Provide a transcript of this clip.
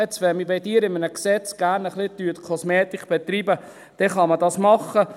Jetzt, wenn Sie bei einem Gesetz gerne ein wenig Kosmetik betreiben, dann kann man das machen.